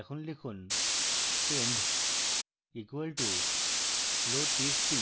এখন লিখুন pend equal to loadtxt